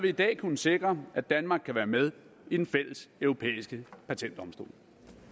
i dag kunnet sikre at danmark kan være med i den fælles europæiske patentdomstol